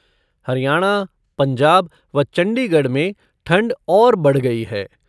हरियाणा, पंजाब व चंडीगढ़ में ठंड और बढ़ गई है।